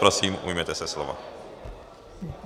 Prosím, ujměte se slova.